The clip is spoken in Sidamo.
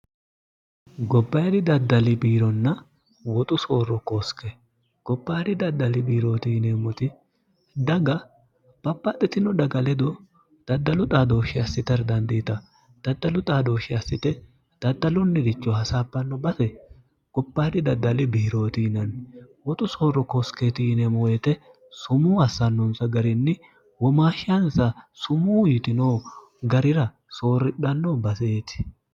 gopairi daddali biironna woxu soorro koosike gophayi'ri daddali biirootiineemmoti daga bapaxxitino dhaga ledo daddalu xaadooshshi assiter dandiita daddalu xaadooshshi assite daddalunniricho hasaapanno base goparhi daddali biirootiinanni woxu soorro kooske tiinemoyete sumuu assannonsa garinni womaashshaansa sumuu yitino garira soorridhanno baseeti